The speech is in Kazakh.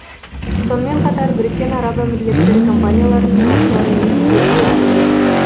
сонымен қатар біріккен араб әмірліктері компанияларының басшыларымен кездесу өткізеді